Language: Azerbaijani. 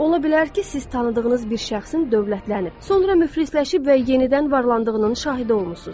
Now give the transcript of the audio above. Ola bilər ki, siz tanıdığınız bir şəxsin dövlətlənib, sonra müflisləşib və yenidən varlandığının şahidi olmusunuz.